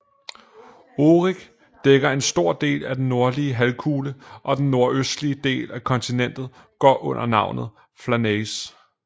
Oerik dækker en stor del af den nordlige halvkugle og den nordøstlige del af kontinentet går under navnet Flanaess